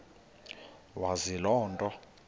wazi loo nto